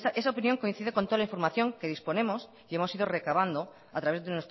esa opinión coincide con toda la información que disponemos y hemos ido recabando a través de